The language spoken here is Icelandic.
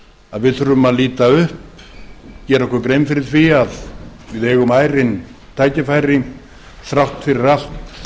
að við þurfum að líta upp og gera okkur grein fyrir því að við eigum ærin tækifæri þrátt fyrir allt